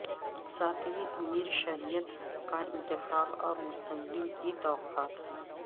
ساتویں امیر شریعت کا انتخاب اور مستقبل کی توقعات